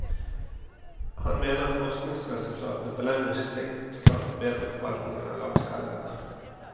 Han mener forskningsresultatene på lengre sikt kan forbedre forvaltningen av lakseelvene.